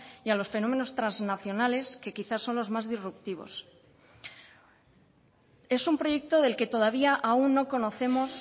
y a los fenómenos transnacionales que quizás son los más disruptivos es un proyecto del que todavía aún no conocemos